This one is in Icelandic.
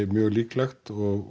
mjög líklegt og